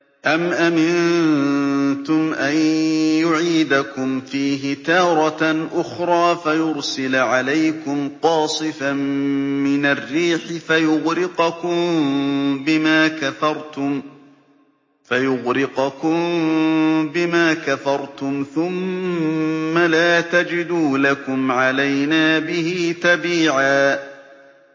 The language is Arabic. أَمْ أَمِنتُمْ أَن يُعِيدَكُمْ فِيهِ تَارَةً أُخْرَىٰ فَيُرْسِلَ عَلَيْكُمْ قَاصِفًا مِّنَ الرِّيحِ فَيُغْرِقَكُم بِمَا كَفَرْتُمْ ۙ ثُمَّ لَا تَجِدُوا لَكُمْ عَلَيْنَا بِهِ تَبِيعًا